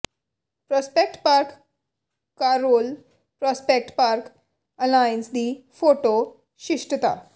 Prospect Park Carroll Prospect Park Alliance ਦੀ photo ਸ਼ਿਸ਼ਟਤਾ